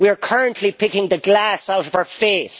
We are currently picking the glass out of our face.